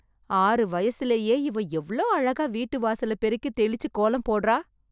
ஆறு வயசுலயே, இவ எவ்ளோ அழகா வீட்டு வாசல பெருக்கி, தெளிச்சு, கோலம் போட்றா...